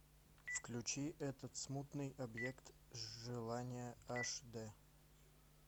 включи этот смутный объект желания аш д